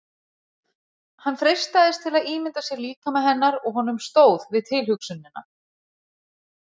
Hann freistaðist til að ímynda sér líkama hennar og honum stóð við tilhugsunina.